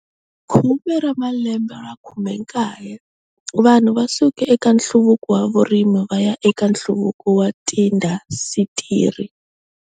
Khume ra malembe 19 Vanhu va suke eka nhluvuko wa vurimi va ya eka nhluvuko wa tiindasitiri.